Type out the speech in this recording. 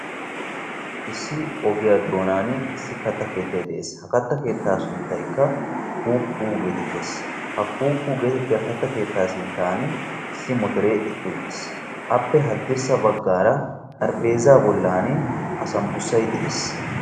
Issi ogiya doonan issi kattaa keettay de'ees. Ha katta keetta sunttaykk Kuukku getettees. Ha kuukku geetettiya kattaa keettaa sinttan issi motore eqqi uttiis. Appe haddirssa baggaara xarapheezzaa bollan asambbusayi de'ees.